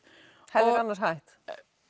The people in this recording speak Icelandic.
hefðir annars hætt